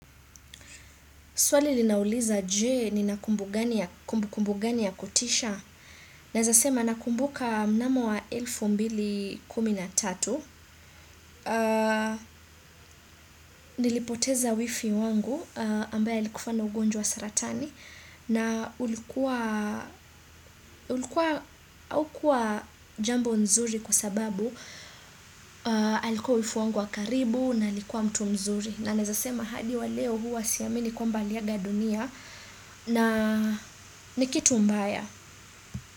Swali linauliza, je, ni na kumbu kumbu gani ya kutisha? Naeza sema na kumbuka mnamo wa elfu mbili kuminatatu, nilipoteza wifi wangu, ambaye alikufa na ugonjwa saratani. Na ulikuwa, haukuwa jambo nzuri kwa sababu, alikua wifi wangu wa karibu na alikua mtu mzuri. Na naeza sema hadi wa leo, huwa siamini kwamba aliaga dunia, na nikitu mbaya.